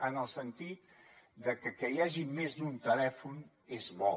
en el sentit de que que hi hagi més d’un telèfon és bo